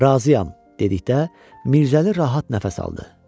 Razıyam, dedikdə, Mirzəli rahat nəfəs aldı.